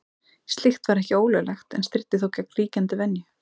Slíkt var ekki ólöglegt en stríddi þó gegn ríkjandi venju.